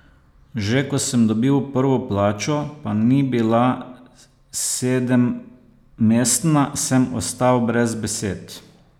Že ko sem dobil prvo plačo, pa ni bila sedemmestna, sem ostal brez besed.